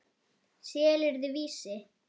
Selurðu Vísi?